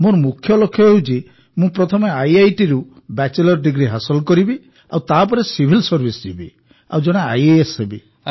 ମୋର ମୁଖ୍ୟ ଲକ୍ଷ୍ୟ ହେଉଛି ମୁଁ ପ୍ରଥମେ ଆଇଆଇଟିରୁ ବ୍ୟାଚଲର ଡିଗ୍ରୀ ହାସଲ କରିବି ଆଉ ତାପରେ ସିଭିଲ ସର୍ଭିସ୍ ଯିବି ଓ ଜଣେ ଆଇଏଏସ୍ ହେବି